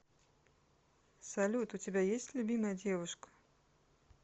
салют у тебя есть любимая девушка